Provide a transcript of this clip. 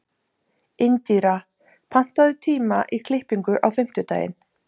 Indíra, pantaðu tíma í klippingu á fimmtudaginn.